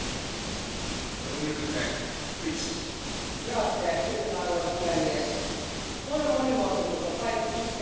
Arvoisa puhemies, luonnon monimuotoisuus on paitsi itseisarvo, myös olennainen elementti ilmastonmuutokseen sopeutumisessa.